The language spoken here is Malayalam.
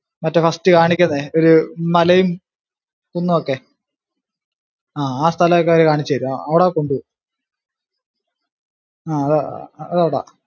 മറ്റേ first കാണിക്കുന്നേ ഒരു മലേം കുന്നുവൊക്കെ ആഹ് ആ സ്ഥലം ഒക്കെ അവര് കാണിച്ചു തരും അവിടെ കൊണ്ടുപോകും ആ അതവിടാ.